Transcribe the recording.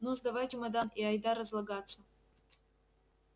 ну сдавай чемодан и айда разлагаться